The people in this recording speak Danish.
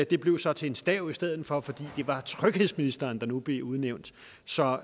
det blev så til en stav i stedet for fordi det var tryghedsministeren der nu blev udnævnt så